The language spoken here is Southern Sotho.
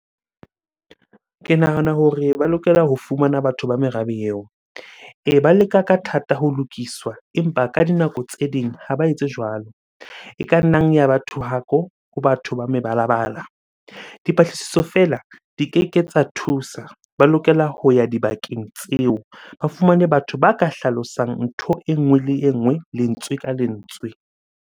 Ke nahana hore ba lokela ho fumana batho ba merabe eo. Ee, ba leka ka thata ho lokiswa, empa ka dinako tse ding ha ba etse jwalo. E ka nnang ya ba thohako ho batho ba mebalabala. Dipatlisiso feela di keke tsa thusa, ba lokela ho ya dibakeng tseo ba fumane batho ba ka hlalosang ntho e nngwe le e nngwe, lentswe ka lentswe.